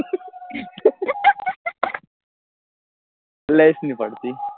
પડતી